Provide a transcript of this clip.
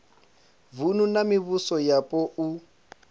vunu na mivhuso yapo u